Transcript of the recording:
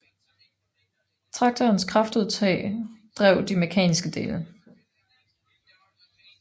Traktorens kraftudtag drev de mekaniske dele